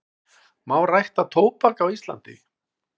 Má rækta tóbak á Íslandi?